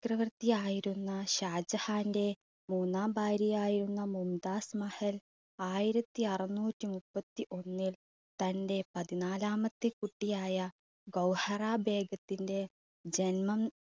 ക്രവർത്തി ആയിരുന്ന ഷാജഹാന്റെ മൂന്നാം ഭാര്യ ആയിരുന്ന മുംതാസ് മഹൽ ആയിരത്തി അറുനൂറ്റി മുപ്പത്തിഒന്നിൽ തൻറെ പതിനാലാമത്തെ കുട്ടിയായ ഗൗഹറാ ബീഗത്തിന്റെ ജന്മം